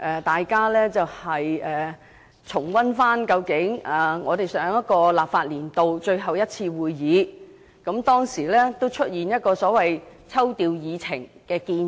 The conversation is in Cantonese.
大家重溫一下，在上個立法年度最後一次會議上，我提出調動議程的建議。